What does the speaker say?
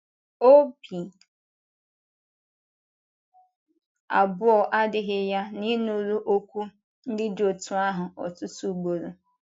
Ọ̀bì abụọ adịghị ya na ị nụrụ okwu ndị dị otú ahụ ọtụtụ ugboro.